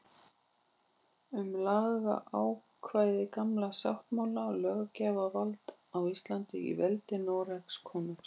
Um lagaákvæði Gamla sáttmála og löggjafarvald á Íslandi í veldi Noregskonungs.